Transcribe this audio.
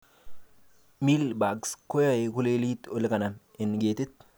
Mealybugs koyoe kolelit olekanam en ketit